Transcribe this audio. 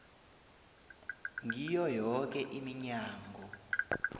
ngiyo yoke iminyango